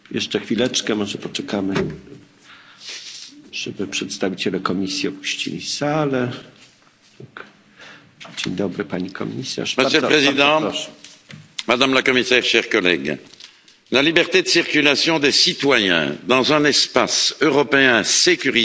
Monsieur le Président, Madame la Commissaire, chers collègues, la liberté de circulation des citoyens dans un espace européen sécurisé est une des valeurs essentielles de l'Union européenne.